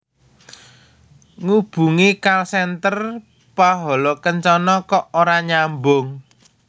Ngubungi call center Pahala Kencana kok ora nyambung